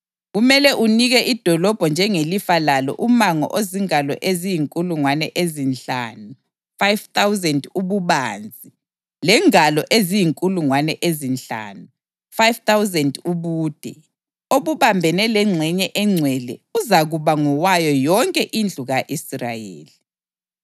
Kumele unike idolobho njengelifa lalo umango ozingalo eziyinkulungwane ezinhlanu (5,000) ububanzi lengalo eziyinkulungwane ezinhlanu (5,000) ubude, obambane lengxenye engcwele; uzakuba ngowayo yonke indlu ka-Israyeli.